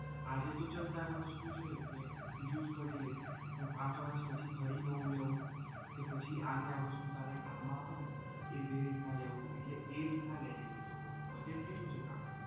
આજે તો ચાલ તારે વસ્તુ છે કે use કરી લઇશ પણ પાંચ વર્ષ પછી ફરી નવું લેવું કે પછી આને આ વસ્તુ તારે કામ મા આવે ને એવી રીતના લેવું એટલે એ રીતના લેજે હું તો કહું છું budget કેટલું છે?